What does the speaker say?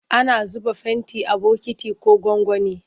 Ana zuba fenti a bokiti ko gwangwani.